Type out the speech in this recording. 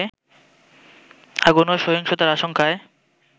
আগুন ও সহিংসতার আশঙ্কায়